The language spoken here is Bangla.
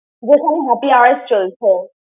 যেখানে happy hours চলছে।